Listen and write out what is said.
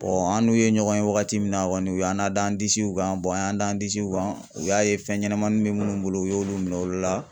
an n'u ye ɲɔgɔn ye wagati min na kɔni u y'an nada an disiw kan an y'an da an disiw kan u y'a ye fɛn ɲɛnɛmanin bɛ minnu bolo u y'olu minɛ olu la.